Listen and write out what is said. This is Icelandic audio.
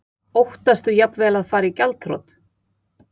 Óttastu jafnvel að fara í gjaldþrot?